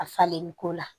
A falen ko la